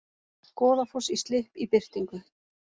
Goðafoss í slipp í birtingu